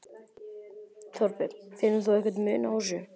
Þorbjörn: Finnur þú einhvern mun á þessu?